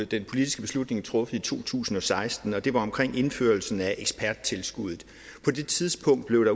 den politiske beslutning truffet i to tusind og seksten og det var omkring indførelsen af eksperttilskuddet på det tidspunkt blev